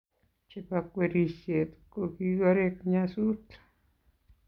chebo kwerishet ,kogigoreek nyasuut